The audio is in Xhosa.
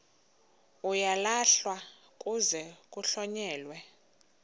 uyalahlwa kuze kuhlonyelwe